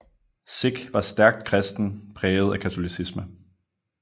Sick var stærkt kristen præget af katolicisme